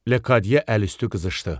Lekadye əli üstü qızıxdı.